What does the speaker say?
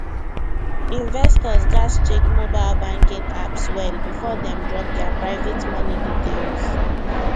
investors gats check mobile banking apps well before dem drop their private money details